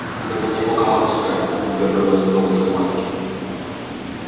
в мгновение ока матушка изготовилась к новой схватке